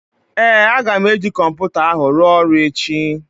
Ee, aga m eji kọmputa ahụ ruo ọrụ echi